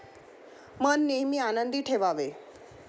मन नेहमी आनंदी ठेवावे.